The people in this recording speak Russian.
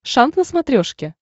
шант на смотрешке